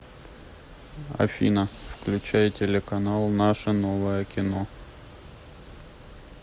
афина включай телеканал наше новое кино